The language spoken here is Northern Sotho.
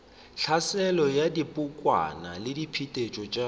tlhaselo ya dibokwana diphetetšo tša